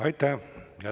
Aitäh!